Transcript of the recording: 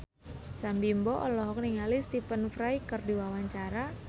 Sam Bimbo olohok ningali Stephen Fry keur diwawancara